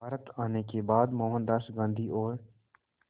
भारत आने के बाद मोहनदास गांधी और